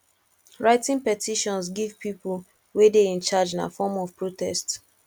writting petitions give people wey de in charge na form of protest